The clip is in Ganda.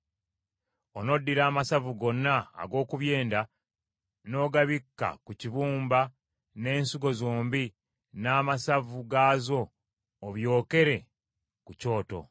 Onoddira amasavu gonna ag’oku byenda n’ogabikka ku kibumba n’ensigo zombi n’amasavu gaazo, obyokere ku kyoto.